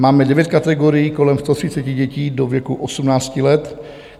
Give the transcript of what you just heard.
Máme devět kategorií, kolem 130 dětí do věku 18 let.